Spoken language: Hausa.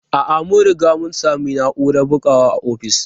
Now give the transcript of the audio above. A'a, mun riga mun sami na'urar bugawa a ofis.